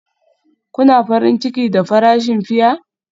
Kuna farin ciki da farashin fiya?